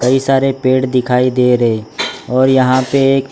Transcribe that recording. कई सारे पेड़ दिखाई दे रहे और यहां पे एक--